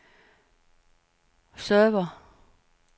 server